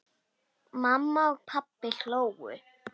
Mamma og pabbi hlógu.